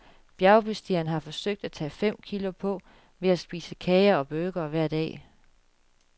Bjergbestigeren har forsøgt at tage fem kilo på ved at spise kager og burgere hver dag.